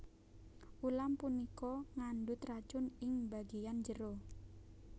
Ulam punika ngandhut racun ing bagéyan jero